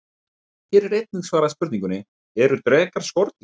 Hér er einnig svarað spurningunni: Eru drekar skordýr?